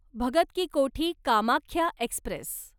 Bhagat Ki Kothi Kamakhya Express